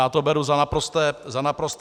Já to beru za naprosté hlouposti.